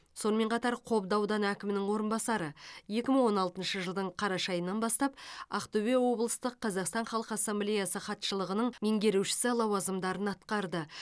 сонымен қатар қобда ауданы әкімінің орынбасары екі мың он алтыншы жылдың қараша айынан бастап ақтөбе облыстық қазақстан халқы ассамблеясы хатшылығының меңгерушісі лауазымдарын атқарды